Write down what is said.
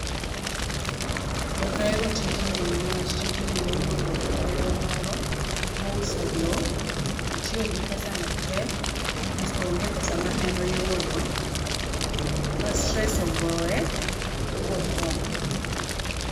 Okahero tijni niwach tijni nowuondo nerwa moro, bouso loo, otiyo gi pesa no tee, asto onge pesa ma en oyudo, ma stress ogoye, bothoo.